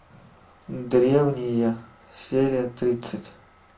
древние серия тридцать